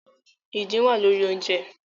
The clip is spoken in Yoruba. Idin wa lori ounjẹ